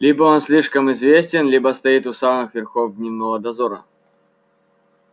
либо он слишком известен либо стоит у самых верхов дневного дозора